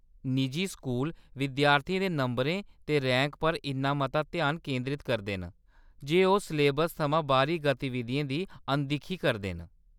निजी स्कूल विद्यार्थियें दे नंबरें ते रैंक पर इन्ना मता ध्यान केंदरत करदे न जे ओह्‌‌ सलेबस थमां बाह्‌री गतिविधियें दी अनदिक्खी करदे न।